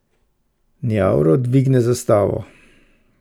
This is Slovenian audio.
Njavro dvigne zastavo.